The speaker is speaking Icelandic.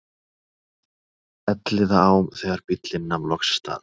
Elliðaám þegar bíllinn nam loks staðar.